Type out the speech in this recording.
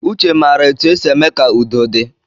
Uche mara etu e si eme ka udo di